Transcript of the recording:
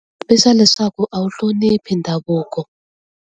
I swa leswaku a wu hloniphi ndhavuko.